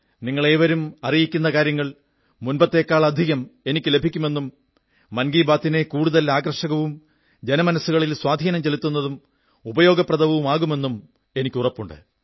നിങ്ങളേവരും അറിയിക്കുന്ന കാര്യങ്ങൾ മുമ്പത്തേക്കാളധികം എനിക്ക് ലഭിക്കുമെന്നും മൻ കീ ബാത്തിനെ കൂടുതൽ ആകർഷകവും ജനമനസ്സുകളിൽ സ്വാധീനം ചെലുത്തുന്നതും ഉപയോഗപ്രദവുമാകുമെന്നും എനിക്കുറപ്പുണ്ട്